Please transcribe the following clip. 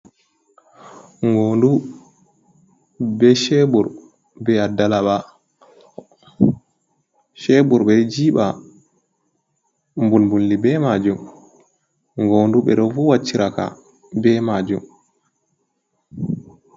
Ngoondu bee ceebur bee addalaɓa. Ceebur ɓe ɗo jiiɓa mbulmbuldi bee maajum, ngoondu ɓe ɗo vuuwa ciraka bee maajum.